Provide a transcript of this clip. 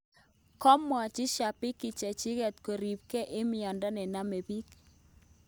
Kamwachi shabiki cheching kurepnge eng miando ne namdapik